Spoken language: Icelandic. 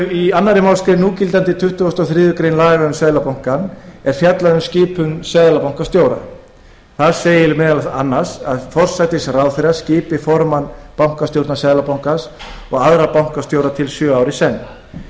í annarri málsgrein núgildandi tuttugasta og þriðju grein laga um seðlabanka íslands er fjallað um skipun seðlabankastjóra þar segir meðal annars að forsætisráðherra skipi formann bankastjórnar seðlabankans og aðra bankastjóra til sjö ára í senn